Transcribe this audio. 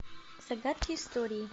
загадки истории